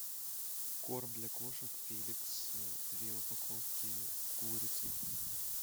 корм для кошек феликс две упаковки с курицей